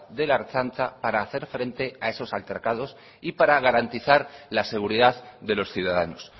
de la ertzaintza para hacer frente a esos altercados y para garantizar la seguridad de los ciudadanos